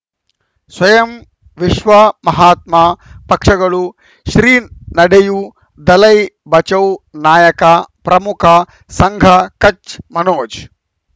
ಸ್ವಯಂ ವಿಶ್ವ ಮಹಾತ್ಮ ಪಕ್ಷಗಳು ಶ್ರೀ ನಡೆಯೂ ದಲೈ ಬಚೌ ನಾಯಕ ಪ್ರಮುಖ ಸಂಘ ಕಚ್ ಮನೋಜ್